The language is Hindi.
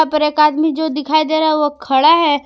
यहां पर एक आदमी जो दिखाई दे रहा है वो खड़ा है।